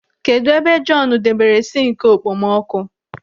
Kedụ ebe Jọọnu debere sinki okpomọkụ?